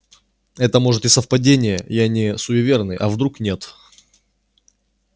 это может и совпадения я не суеверный а вдруг нет